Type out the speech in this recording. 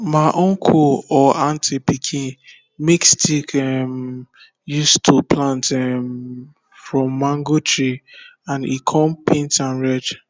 ma uncle or aunty pikin make stick um use to plant um from mango tree and e kon paint am red